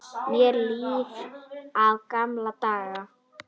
Meira líf í gamla daga?